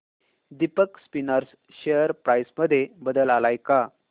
Deepak spinners share price मध्ये बदल आलाय का